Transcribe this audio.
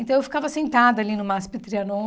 Então, eu ficava sentada ali no Masp Trianon.